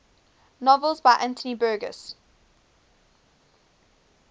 novels by anthony burgess